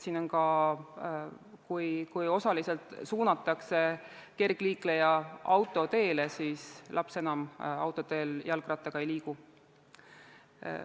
Siin on ka see asi, et osaliselt suunatakse kergliikleja autoteele, aga laps autoteel jalgrattaga ei liigu.